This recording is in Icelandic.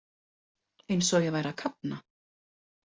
Eins og ég væri að kafna.